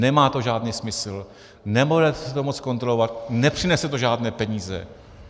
Nemá to žádný smysl, nebudeme si to moci zkontrolovat, nepřinese to žádné peníze.